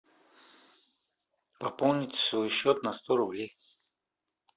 пополнить свой счет на сто рублей